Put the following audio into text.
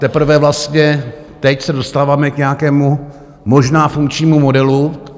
Teprve vlastně teď se dostáváme k nějakému možná funkčnímu modelu.